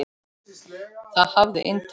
Það hafði inntak.